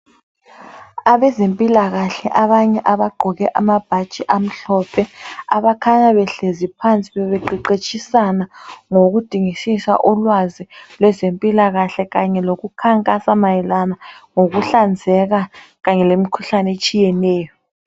Abezempilakahle abanye abagqoke amabhatshi amhlophe abakhanya behlezi phansi bebeqeqetshisana ngokudingisisa ulwazi lwezempilakahle kanye lokukhankasa mayelana lokuhlanzeka kanye lemkhuhlane etshiyeneyo.